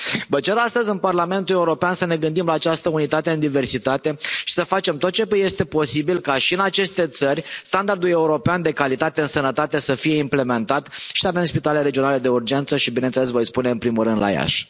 Vă cer astăzi în Parlamentul European să ne gândim la această unitate în diversitate și să facem tot ce este posibil ca și în aceste țări standardul european de calitate în sănătate să fie implementat și să avem spitale regionale de urgență și, bineînțeles, voi spune, în primul rând la Iași.